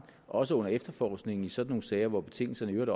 også under efterforskningen i sådan nogle sager hvor betingelserne i øvrigt